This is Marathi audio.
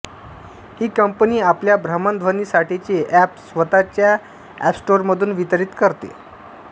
ही कंपनी आपल्या भ्रमणध्वनींसाठीचे अॅप स्वतःच्या अॅपस्टोरमधून वितरीत करते